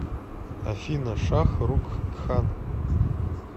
афина шах рукх кхан